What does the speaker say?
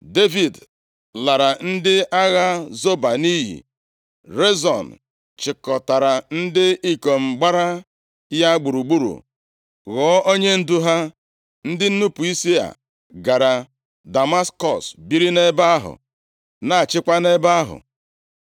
Devid lara ndị agha Zoba nʼiyi, Rezon chịkọtara ndị ikom gbara ya gburugburu, ghọọ onyendu ha, ndị nnupu isi a gara Damaskọs biri nʼebe ahụ, na-achịkwa nʼebe ahụ.